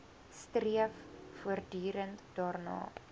streef voortdurend daarna